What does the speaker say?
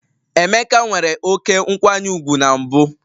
Emeka nwere oké nkwanye ùgwù na mbụ